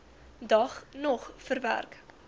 dag nog verwerk